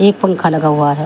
एक पंखा लगा हुआ है।